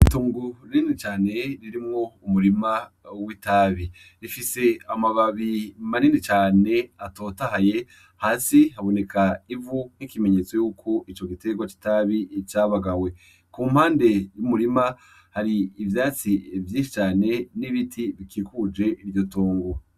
Itungu rrini cane ririmwo umurima w'itabi rifise amababi marini cane atotahaye hasi haboneka ivu nk'ikimenyetso yuko ico giterwa citabi icabagawe ku mpande y'umurima hari ivyatsi vyinshi cane n'ibiti bikikuje iryo tonga.